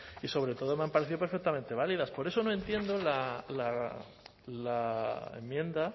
y sobre todo me han parecido perfectamente válidas por eso no entiendo la enmienda